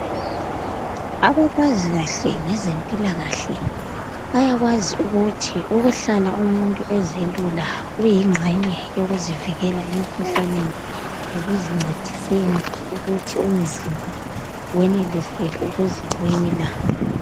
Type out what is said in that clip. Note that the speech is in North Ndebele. Abakwazi kahle ngezempilakahle bayakwazi ukuthi ukuhlala umuntu ezelula kuyingxenye yokuzivikela emikhuhlaneni lekuzincediseni ukuthi umzimba wenelise ukuzilwela.